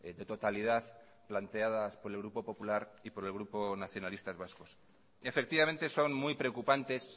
de totalidad planteadas por el grupo popular y por el grupo nacionalistas vascos efectivamente son muy preocupantes